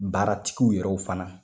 Baaratigiw yɛrɛ fana